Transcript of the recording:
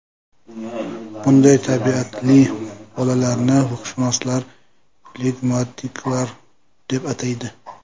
Bunday tabiatli bolalarni ruhshunoslar flegmatiklar deb ataydi.